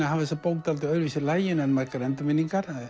að hafa þessa bók svolítið öðruvísi í laginu en margar endurminningar